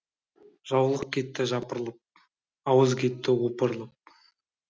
жаулық кетті жапырлып ауыз кетті опырылып